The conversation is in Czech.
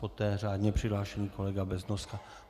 Poté řádně přihlášený kolega Beznoska.